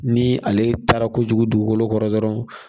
Ni ale taara kojugu dugukolo kɔrɔ dɔrɔnw